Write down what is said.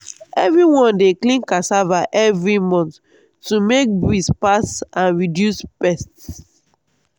everyone dey clean cassava every month to make breeze pass and reduce pest.